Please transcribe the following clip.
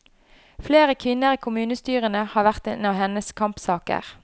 Flere kvinner i kommunestyrene har vært en av hennes kampsaker.